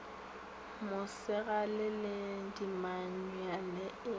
mosegale le dimanyuale e a